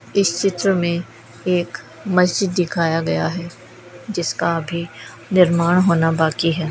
इस चित्र में एक मस्जिद दिखाया गया है जिसका अभी निर्माण होना बाकी है।